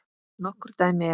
Nokkur dæmi eru